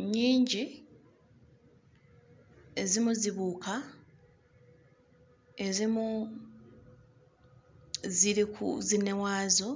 Nnyingi, ezimu zibuuka, ezimu ziri ku zinne waazo.